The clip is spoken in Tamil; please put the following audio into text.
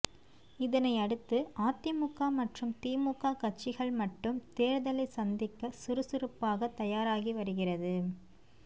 இதனை அடுத்து அதிமுக மற்றும் திமுக கட்சிகள் மட்டும் தேர்தலை சந்திக்க சுறுசுறுப்பாக தயாராகி வருகிறது